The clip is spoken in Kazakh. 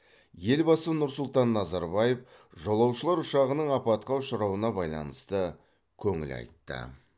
елбасы нұр сұлтан назарбаев жолаушылар ұшағының апатқа ұшырауына байланысты көңіл айтты